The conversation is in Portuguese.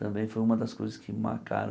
Também foi uma das coisas que marcaram.